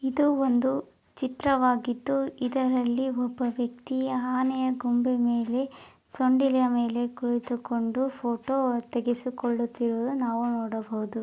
ಇದು ಒಂದು ಚಿತ್ರವಾಗಿದು ಇದರಲ್ಲಿ ಒಬ್ಬ ವ್ಯಕ್ತಿಯ ಆನೆಯ ಗೊಂಬೆ ಮೇಲೆ ಸೊಂಡಿಲು ಮೇಲೆ ಕುಳಿತು ಕೊಂಡು ಫೋಟೋ ತೆಗೆಸಿ ಕೊಳ್ಳುತ್ತಿರುವುದನ್ನು ನಾವು ನೋಡಬಹುದು.